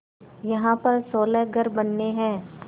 यहाँ पर सोलह घर बनने हैं